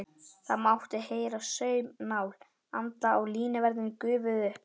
Það mátti heyra saumnál anda og línuverðirnir gufuðu upp.